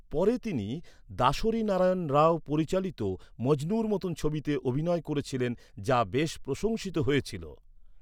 পরে তিনি দাসরি নারায়ণ রাও পরিচালিত মজনুর মত ছবিতে অভিনয় করেছিলেন, যা বেশ প্রশংসিত হয়েছিল।